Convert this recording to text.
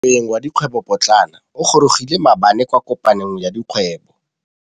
Moêng wa dikgwêbô pôtlana o gorogile maabane kwa kopanong ya dikgwêbô.